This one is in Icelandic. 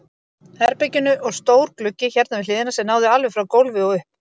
herberginu og stór gluggi hérna við hliðina sem náði alveg frá gólfi og upp.